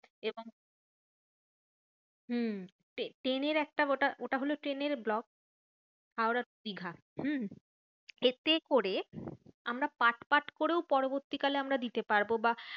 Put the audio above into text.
এবং হম ট্রে~ ট্রেনের একটা গোটা ওটা হলো ট্রেনের vlog. হাওড়া to দিঘা। হম এতে করে আমরা part part করেও পরবর্তী কালে আমরা দিতে পারবো বা